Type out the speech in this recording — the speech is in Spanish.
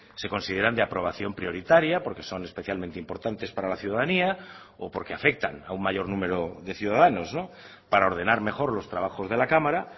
se consideran de aprobación prioritaria porque son especialmente importantes para la ciudadanía o porque afectan a un mayor número de ciudadanos para ordenar mejor los trabajos de la cámara